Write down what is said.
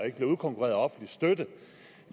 ikke bliver udkonkurreret af offentlig støtte